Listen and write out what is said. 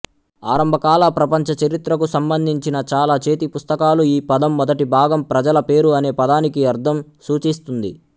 ఆరంభకాల ప్రపంచచరిత్రకు సంబంధించిన చాలా చేతిపుస్తకాలు ఈ పదం మొదటి భాగం ప్రజల పేరు అనే పదానికి అర్థం సూచిస్తుంది